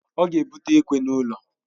Ọ ga ebute ekwe n'ulo